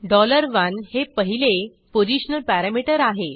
1 हे पहिले positional parameter आहे